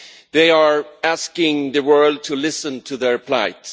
They are asking the world to listen to their plight.